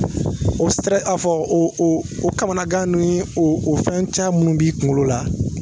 O aa fɔ o kamanagan ninnu ye o fɛn caman minnu b'i kunkolo la